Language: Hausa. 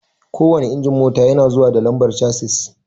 Kowanne injin mota yana zuwa da lambar chasis